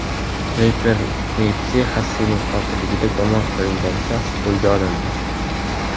Reper Nipsi Xasslning qotilligida gumon qilingan shaxs qo‘lga olindi.